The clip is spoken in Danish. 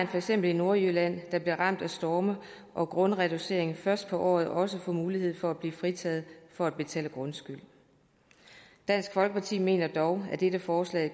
for eksempel nordjylland der blev ramt af storme og grundreducering først på året også får mulighed for at blive fritaget for at betale grundskyld dansk folkeparti mener dog at dette forslag